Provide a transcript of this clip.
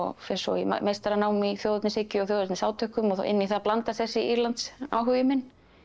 fer svo í meistaranám í þjóðernishyggju og þjóðernisátökum og inn í það blandast þessi Írlands áhugi minn